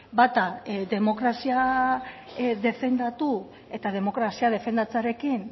bata demokrazia defendatu eta demokrazia defendatzearekin